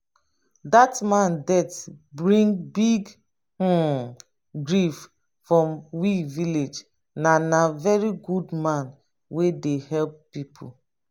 dat man death bring big um grief for we village na na very good man wey dey help pipo